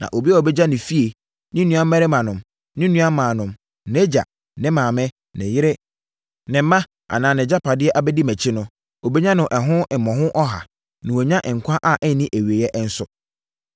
Na obiara a ɔbɛgya ne efie, ne nuammarimanom, ne nuammaanom, nʼagya, ne maame, ne yere, ne mma anaa nʼagyapadeɛ abɛdi mʼakyi no, ɔbɛnya no ɛho mmɔho ɔha, na wanya nkwa a ɛnni awieeɛ nso.